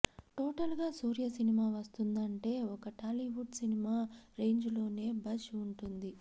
total గా Suriya cinema వస్తుందంటే ఒక టాలీవుడ్ సినిమా రేంజ్ లోనే బజ్ వుటుంది